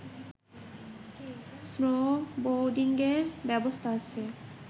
স্নোবোর্ডিঙের ব্যবস্থা আছে